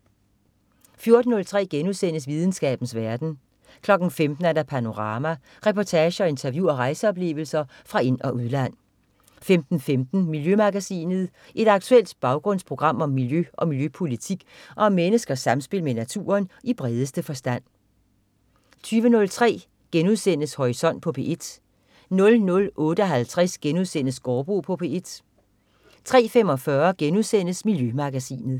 14.03 Videnskabens verden* 15.00 Panorama. Reportager, interview og rejseoplevelser fra ind- og udland 15.15 Miljømagasinet. Et aktuelt baggrundsprogram om miljø og miljøpolitik og om menneskers samspil med naturen i bredeste forstand 20.03 Horisont på P1* 00.58 Gaardbo på P1* 03.45 Miljømagasinet*